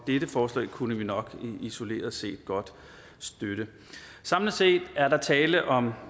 dette forslag kunne vi nok isoleret set godt støtte samlet set er der tale om